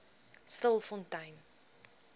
stilfontein